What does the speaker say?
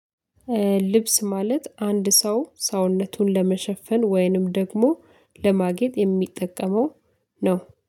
ልብስ ማለት አንድ ሰው ሰውነቱን ለመሸፈን ወይንም ደግሞ ለማጌጥ የሚጠቀመው ነው።